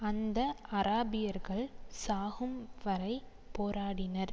அந்த அராபியர்கள் சாகும் வரை போராடினர்